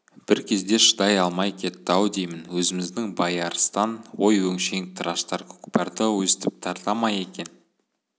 бір кезде шыдай алмай кетті-ау деймін өзіміздің байарыстан ой өңшең тыраштар көкпарды өстіп тарта ма екен